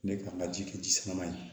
Ne ka n ka ji kɛ ji suman ye